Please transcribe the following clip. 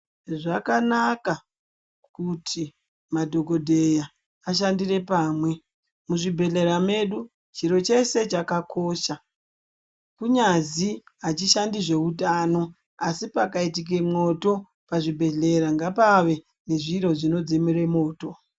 Zvakanaka kuti madhokodheya ashandire pamwe muzvibhedhlera medu chiro chese chakakosha kunyazi achishandi zveutano asi pakaite mwoto, pachibhedhlera ngapave nezviro zvinodzimura mwoto.